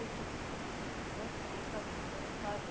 Eu digo, e isso aí deve ser chato, mas vamos lá ver.